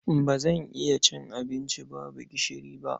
Ba zan iya cin abinci babu gishiri ba.